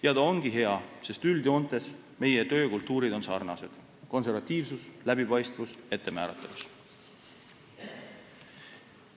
Ja ta ongi hea, sest üldjoontes on meie töökultuur sarnane – konservatiivsus, läbipaistvus, ettemääratavus.